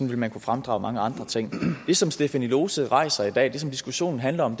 vil man kunne fremdrage mange andre ting det som stephanie lose rejser i dag det som diskussionen handler om